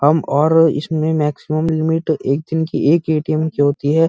हम और इसमें मैंक्सिमम लिमिट एक दिन की एक ए.टी.एम की होती है।